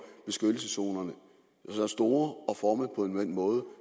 beskyttelseszonerne så store og formet på en måde